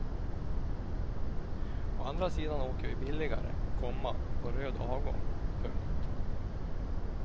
Å andra sidan åker vi billigare, komma på röd avgång. punkt